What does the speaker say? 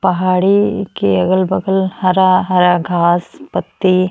पहाड़ी के अगल बगल हरा-हरा घास पत्ती --